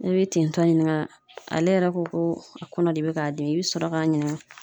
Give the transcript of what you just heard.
E be tintɔ ɲininga ale yɛrɛ ko ko a kɔnɔ de bɛ k'a dimi i bi sɔrɔ k'a ɲininga